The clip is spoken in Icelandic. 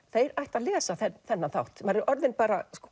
þeir ættu að lesa þennan þátt maður er orðinn bara